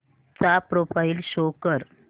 चा profile show कर